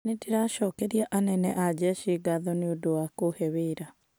"Nĩndĩracokeria anene a jeshi ngaatho mũno nĩ kũũhe wira".